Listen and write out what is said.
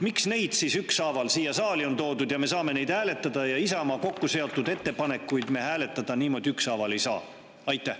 Miks need siis ükshaaval siia saali on toodud ja me saame neid hääletada, aga Isamaa kokkuseotud ettepanekuid me hääletada niimoodi ükshaaval ei saa?